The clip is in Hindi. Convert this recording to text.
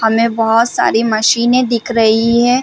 हमें बहोत सारी मशीने दिख रही है।